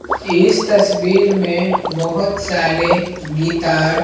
इस तस्वीर में बहुत सारे गीतार।